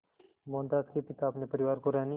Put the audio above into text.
मोहनदास के पिता अपने परिवार को रहने